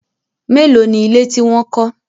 Mélòó ni ilé tí wọ́n kọ́?